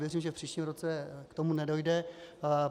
Věřím, že v příštím roce k tomu nedojde.